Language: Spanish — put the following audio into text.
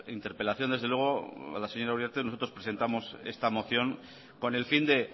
interpelación desde luego a la señora uriarte nosotros presentamos esta moción con el fin de